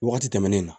Wagati tɛmɛnen na